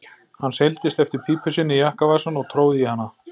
Hann seildist eftir pípu sinni í jakkavasann og tróð í hana.